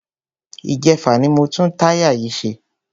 Ìjẹfà ni mo tún táyà yìí ṣe.